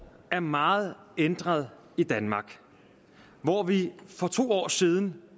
er meget ændret i danmark hvor vi for to år siden